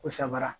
Ko sabara